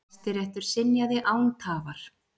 Hæstiréttur synjaði án tafar.